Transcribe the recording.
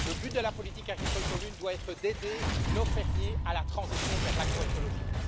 le but de la politique agricole commune doit être d'aider nos fermiers à la transition vers l'agroécologie.